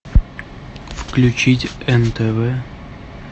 включить нтв